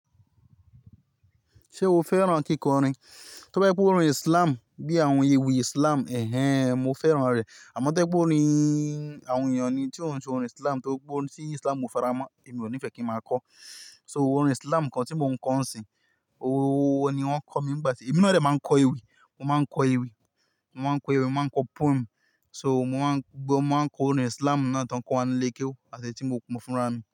Ṣé o fẹ́ràn kíkọrin? To bá ye pé orin Islam bí àwọn ewì Islam, ẹhẹ́n mo fẹ́ràn rẹ̀. Àmọ́ to ye pé orin àwọn ènìyàn ni tí ó ń ṣe orin Islam tí ó pọ̀ sí Islam ò faramọ́, èmi ò ní fẹ́ kí ń máa kọ́. So orin Islam kan tí mo ń kọ ọ́ ń isin, owó ni wọ́n kọ́ mi ìgbà tí, èmi de máa ń kọ ewì, mo máa ń kọ ewì, mo máa ń kọ ewì, mo máa ń kọ poem. So mo máa ń, gbogbo máa ń kọ orin Islam náà tó ń kọ́ wa ní ilé kéwú àti etí mo fúnra mi.